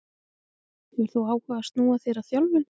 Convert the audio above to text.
Hefur þú áhuga á að snúa þér að þjálfun?